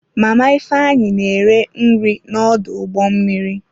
Mama Ifeanyi na-ere nri n'ọdụ ụgbọ mmiri.